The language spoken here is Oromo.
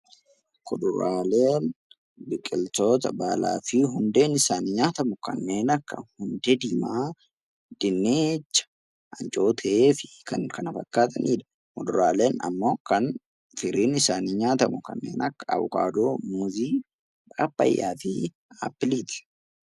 Kuduraaleen biqiltoota baalaa fi hundeen isaanii nyaatamu kanneen akka hundee diimaa, dinnicha, ancootee fi kan kana fakkaatanidha. Muduraaleen immoo kan firiin isaanii nyaatamu, kanneen akka avokaadoo, muuzii, pappaayyaa fi appiliiti.